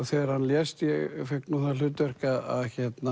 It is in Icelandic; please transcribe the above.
þegar hann lést ég fékk nú það hlutverk að